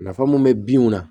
Nafa mun be binw na